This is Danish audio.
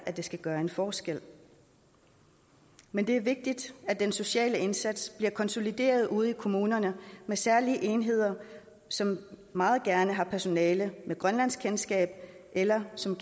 det skal gøre en forskel men det er vigtigt at den sociale indsats bliver konsolideret ude i kommunerne med særlige enheder som meget gerne har personale med grønlandskendskab eller som